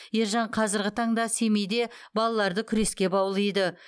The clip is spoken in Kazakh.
ержан қазіргі таңда семейде балаларды күреске баулиды